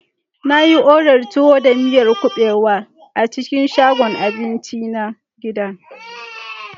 Na yi odar tuwo da miyar kuɓewa a cikin shagon abinci na gida.